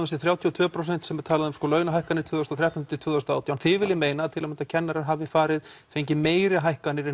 þessi þrjátíu og tvö prósent sem talað er um launahækkanir tvö þúsund og þrettán tvö þúsund og átján þið viljið meina að til að mynda kennarar hafi fengið meiri hækkanir en